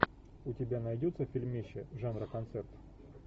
у тебя найдется фильмище жанра концерт